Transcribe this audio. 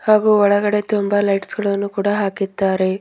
ಹಾಗೂ ಒಳಗಡೆ ತುಂಬಾ ಲೈಟ್ಸ್ ಗಳನ್ನು ಕೂಡ ಹಾಕಿದ್ದಾರೆ.